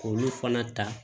K'olu fana ta